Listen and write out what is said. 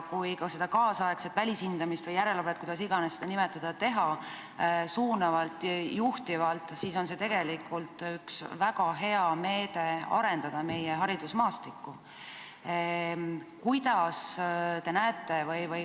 Kui seda nüüdisaegset välishindamist või järelevalvet, kuidas iganes seda nimetada, teha suunavalt ja juhtivalt, siis on see üks väga hea meede, kuidas arendada meie haridusmaastikku.